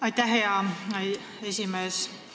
Aitäh, hea esimees!